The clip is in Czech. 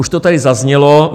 Už to tady zaznělo.